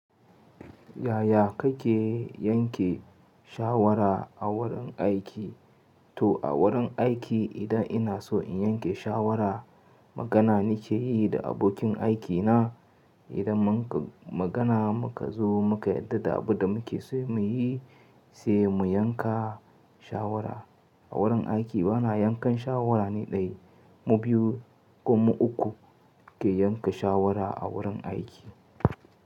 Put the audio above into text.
Yaya kake yanke shawara a wurin aiki? To a wurin aiki idan ina so in yanke shawara magana nake yi da abokin aikina. Idan mun ka magana muka zo muka yarda da abin da muke so muyi, sai mu yanka shawara. A wurin aiki bana yankan shawara ni ɗaya, mu biyu ko mu uku muke yanka shawara a wurin aiki.